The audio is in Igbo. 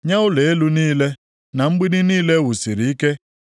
nye ụlọ elu niile, na mgbidi niile e wusiri ike,